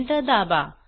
enter दाबा